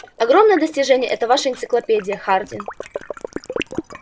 огромное достижение эта ваша энциклопедия хардин